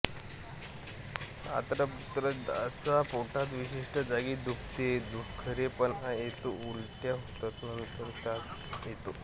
आंत्रपुच्छदाहात पोटात विशिष्ट जागी दुखते दुखरेपणा येतो उलटया होतात व नंतर ताप येतो